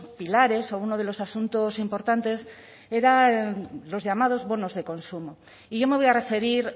pilares o uno de los asuntos importantes eran los llamados bonos de consumo y yo me voy a referir